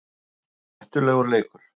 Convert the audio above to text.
Þetta er hættulegur leikur